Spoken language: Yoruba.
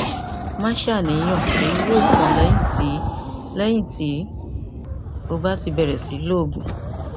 má ṣàníyàn èyí yóò sàn lẹyìn tí lẹyìn tí o bá ti bẹrẹ sí lo oògùn